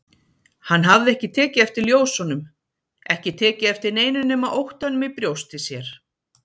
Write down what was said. Hann hafði ekki tekið eftir ljósunum, ekki tekið eftir neinu nema óttanum í brjósti sér.